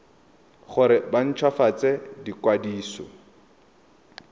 gore ba nt hwafatse ikwadiso